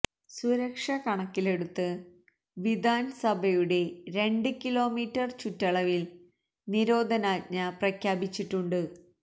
സുരക്ഷ കണക്കിലെടുത്ത് വിധാന് സഭയുടെ രണ്ട് കിലോമീറ്റര് ചുറ്റളവില് നിരോധനാജ്ഞ പ്രഖ്യാപിച്ചിട്ടുണ്ട്